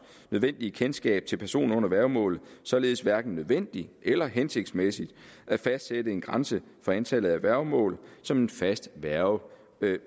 nødvendige kendskab til personer under værgemål således hverken nødvendigt eller hensigtsmæssigt at fastsætte en grænse for antallet af værgemål som en fast værge